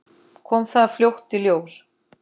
Kom það fljótt í ljós?